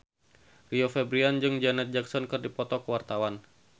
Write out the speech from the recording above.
Rio Febrian jeung Janet Jackson keur dipoto ku wartawan